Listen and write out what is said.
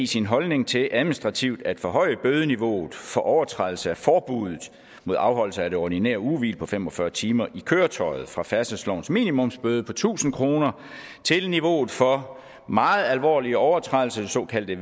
sin holdning til administrativt at forhøje bødeniveauet for overtrædelse af forbuddet mod afholdelse af det ordinære ugehvil på fem og fyrre timer i køretøjet fra færdselslovens minimumsbøde på tusind kroner til niveauet for meget alvorlige overtrædelser det såkaldte